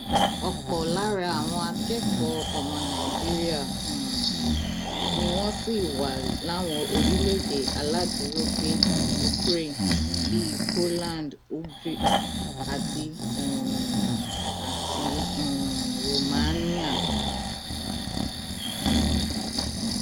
ọpọ lára àwọn akẹkọọ ọmọ nàìjíríà um ni wọn sì wà láwọn lórílẹèdè aláàdúrógbè ukraine bíi poland hungary àti um àti um romania